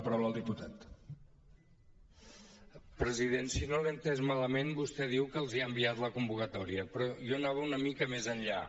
president si no l’he entès malament vostè diu que els ha enviat la convocatòria però jo anava una mica més enllà